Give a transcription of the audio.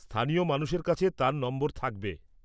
স্থানীয় মানুষের কাছে তাঁর নম্বর থাকবে।